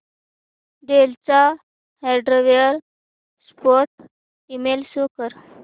del चा hardware support email show कर